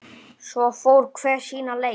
Svo fór hver sína leið.